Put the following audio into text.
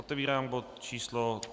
Otevírám bod číslo